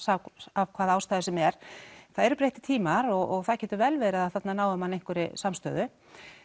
af hvaða ástæðu sem er það eru breyttir tímar og það getur vel verið að þarna nái menn einhverri samstöðu